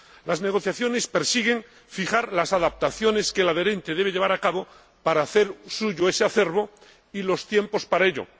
Las negociaciones persiguen fijar las adaptaciones que el adherente debe llevar a cabo para hacer suyo ese acervo y los tiempos para ello.